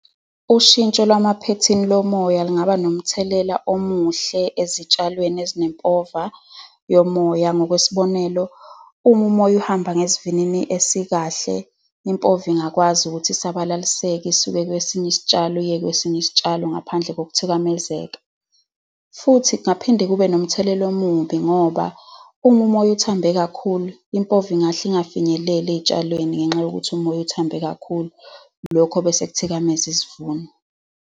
Ushintsho lwamaphethini omoya lungaba nomthelela omuhle ezitshalweni ezinempova yomoya. Ngokwesibonelo, uma umoya uhamba ngesivinini esikahle, impova ingakwazi ukuthi asabalaliseke, isuke kwesinye isitshalo iye kwesinye isitshalo, ngaphandle kokuthikamezeka. Futhi kungaphinde kube nomthelela omubi ngoba uma umoya uthambe kakhulu impova ingahle ingafinyeleli ey'tshalweni, ngenxa yokuthi umoya uthambe kakhulu. Lokho bese kuthikameza isivuno.